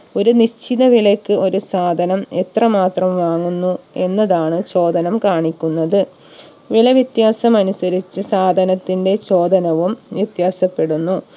ഒരു നിശ്ചിത വിലയ്ക്ക് ഒരു സാധനം എത്ര മാത്രം വാങ്ങുന്നു എന്നതാണ് ചോദനം കാണിക്കുന്നത് വില വിത്യാസം അനുസരിച്ച് സാധനത്തിന്റെ ചോദനവും വ്യത്യാസപ്പെടുന്നു